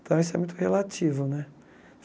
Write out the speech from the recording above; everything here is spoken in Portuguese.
Então, isso é muito relativo né.